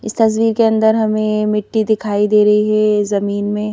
इस तस्वीर के अंदर हमें मिट्टी दिखाई दे रही है जमीन में--